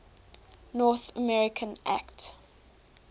north america act